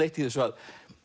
eitt í þessu að